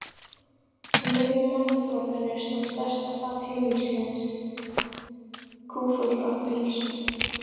Á miðju matarborðinu stóð stærsta fat heimilisins kúffullt af pylsum.